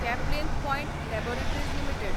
Caplin Point Laboratories limited